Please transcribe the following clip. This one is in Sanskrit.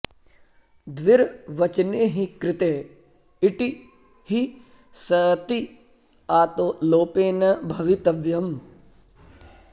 द्विर्वचने हि कृते इटि हि सति आतो लोपेन भवितव्यम्